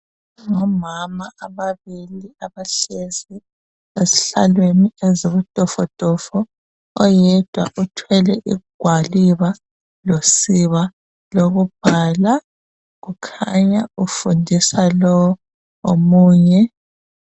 Ngomama ababili abahlezi ezihlalweni ezibutofotofo oyedwa uthwele igwaliba losiba lokubhala kukhanya ufundisa lo omunye.